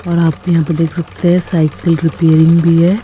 और आप यहां पे देख सकते हैं साइकिल रिपेयरिंग भी है।